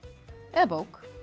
eða bók